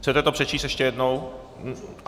Chcete to přečíst ještě jednou?